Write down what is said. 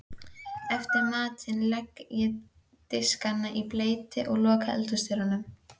Eftir matinn legg ég diskana í bleyti og loka eldhúsdyrunum.